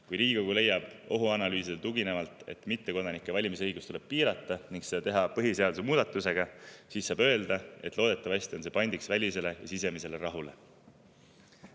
Kui Riigikogu leiab ohuanalüüsile tuginevalt, et mittekodanike valimisõigust tuleb piirata ning seda tuleks teha põhiseaduse muudatusega, siis saab öelda, et loodetavasti on see pandiks välisele ja sisemisele rahule.